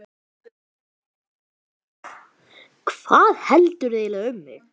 Hvað heldurðu eiginlega um mig!